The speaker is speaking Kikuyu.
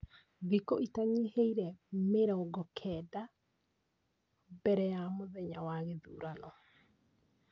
Thikũ itanyiheire mĩrongo kenda mbere ya mũthenya wa gĩthurano.